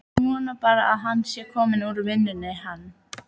Ég vona bara að hann sé kominn úr vinnunni, hann.